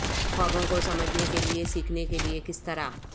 خوابوں کو سمجھنے کے لئے سیکھنے کے لئے کس طرح